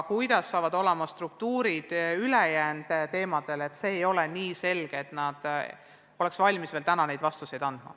Milline saab olema täpne struktuur, see ei ole nii selge, et nad oleks valmis seda selgitama.